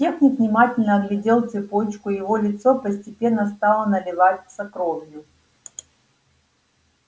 техник внимательно оглядел цепочку и его лицо постепенно стало наливаться кровью